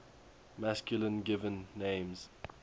masculine given names